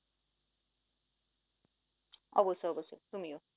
অবশ্যই অবশ্যই, তুমিও